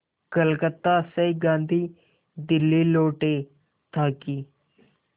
कलकत्ता से गांधी दिल्ली लौटे ताकि